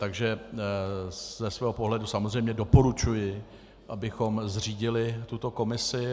Takže ze svého pohledu samozřejmě doporučuji, abychom zřídili tuto komisi.